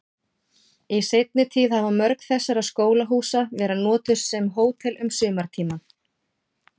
Í seinni tíð hafa mörg þessara skólahúsa verið notuð sem hótel um sumartímann.